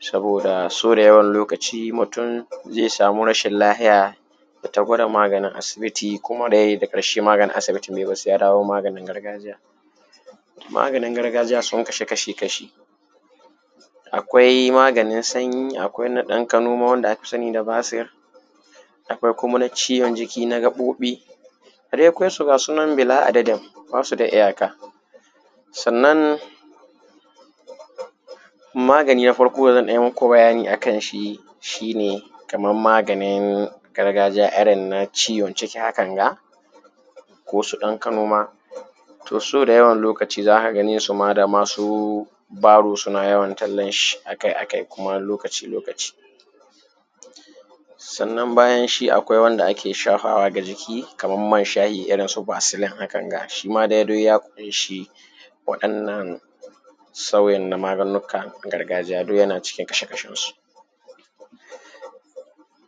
sabooda sau dayawan lokaci mutum zai samu rashin lahiya yayi ta gwada maganin asibiti kuma dai daga ƙarshe maganin asibitin bai yi ba sai ya dawo maganin gargajiya. Maganin gargajiya sun kasu kashii-kashi, akwai maganin sanyi akwai na ɗan kanoma wanda aka sani da basir, akwai kuma na ciwon jiki na gaɓoɓi, a dai kwai su ga sunan bila adadin baa su da iyaka. Sannan magani naa farko da zan ɗan yi maku bayani akan shi shi ne kamar maaganin gargajiya irin na ciwon ciki hakan ga ko su ɗankanoma, to su dayawan lokaci za ka ganee su ma da masu baro suna yawon tallanshi akai-akai kuma lokaci-lokaci. sannan bayan shi akwai wanda ake shafawa ga jiki kamar man shahi irin su baasilin hakanga, shima dai duk ya ƙunshi waɗannan sauyin naa maganunnuka na gargajiya duk yana cikin kashe-kashensu.